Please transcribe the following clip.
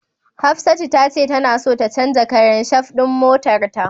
Hafsatu tace tana so ta canja karan shaf din motarta.